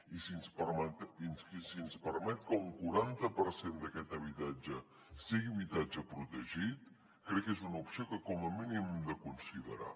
i si ens permet que un quaranta per cent d’aquest habitatge sigui habitatge protegit crec que és una opció que com a mínim hem de considerar